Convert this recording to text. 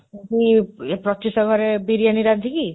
ସେଠି, ପ୍ରତ୍ୟୁଷ ଘରେ ବିରିୟାନି ରାନ୍ଧିକି,